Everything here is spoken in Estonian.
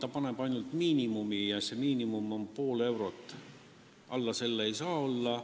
See sätestab ainult miinimumi ja see miinimum on pool eurot, alla selle ei tohi olla.